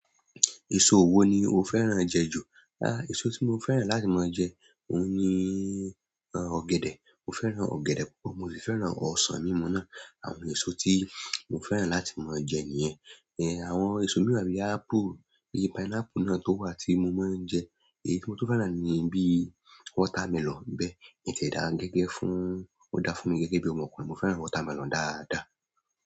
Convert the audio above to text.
Èso ò wo ni o fẹ́ràn jẹ jù? Àh, èso tí mo fẹ́ràn láti máa jẹ, òun ni ọ̀gẹ̀dẹ̀. Mo fẹ́ràn ọ̀gẹ̀dẹ̀ púpọ̀, mo sì fẹ́ràn ọsàn mímu náà. Àwọn èso tí mo fẹ́ràn láti máa jẹ nìyẹn. Then, àwọn èso mìíràn bí apple, bí pineapple náà tó wà tí mo máa ń jẹ. Èyí tí mo tún fẹ́ràn ni bí watermelon ń bẹ̀, ìyẹn tiẹ̀ da gẹ́gẹ́ fún, ó da fún mi gẹ́gẹ́ bí ọmọkùnrin. Mo fẹ́ràn watermelon dáadáa.